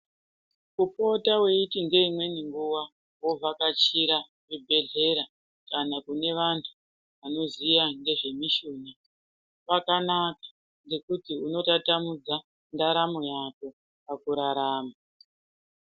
Kupota weiti ngeimweni nguwa wovhakachira chibhedhlera kana kune vantu vanoziya ngezvemishuna, kwakanaka ngekuti unotatamudza ndaramo yako pakurarama.